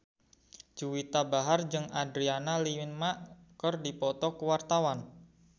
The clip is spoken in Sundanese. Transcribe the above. Juwita Bahar jeung Adriana Lima keur dipoto ku wartawan